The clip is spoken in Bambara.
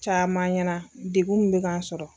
Caman ɲɛna degun min bɛ ka n sɔrɔ.